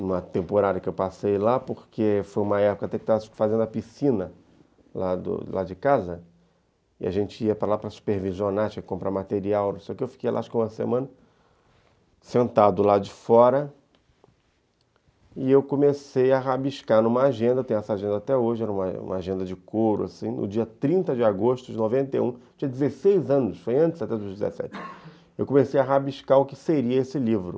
numa temporada que eu passei lá, porque foi uma época que eu estava fazendo a piscina lá de casa, e a gente ia para lá para supervisionar, tinha que comprar material, não sei o quê, eu fiquei lá, acho que uma semana, sentado lá de fora, e eu comecei a rabiscar numa agenda, tenho essa agenda até hoje, era uma agenda de coro, assim, no dia trinta de agosto de noventa e um, eu tinha dezesseis anos, foi antes, até dos dezessete, eu comecei a rabiscar o que seria esse livro.